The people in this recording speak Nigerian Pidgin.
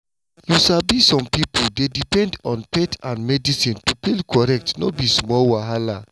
you sabi some pipo dey depend on faith and medicine to feel correct no be small wahala.